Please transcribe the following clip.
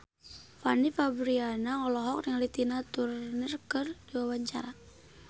Fanny Fabriana olohok ningali Tina Turner keur diwawancara